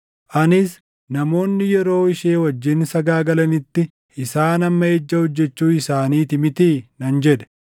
Anis, ‘Namoonni yeroo ishee wajjin sagaagalanitti isaan amma ejja hojjechuu isaaniitii mitii?’ nan jedhe.